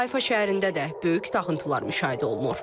Hayfa şəhərində də böyük dağıntılar müşahidə olunur.